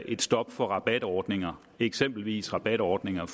et stop for rabatordninger eksempelvis rabatordninger